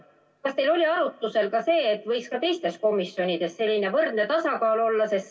Kas teil oli arutusel ka see, et võiks ka teistes komisjonides selline võrdne tasakaal olla?